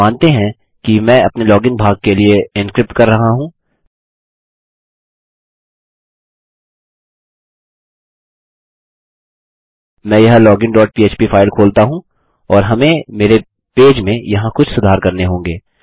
मानते हैं कि मैं अपने लॉगिन भाग के लिए एन्क्रिप्ट कर रहा हूँ मैं यह लोगिन डॉट पह्प फाइल खोलता हूँ और हमें मेरे पेज में यहाँ कुछ सुधार करने होंगे